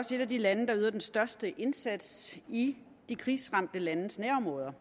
også et af de lande der yder den største indsats i de krigsramte landes nærområder